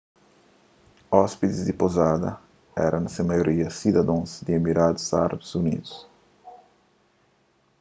óspides di pouzada éra na se maioria sidadons di emiradus árabi unidu